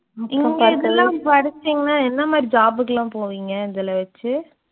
இங்க இதெல்லாம் படிச்சீங்கன்னா என்ன மாதிரி job உக்கெல்லாம் போவீங்க இதுல வச்சு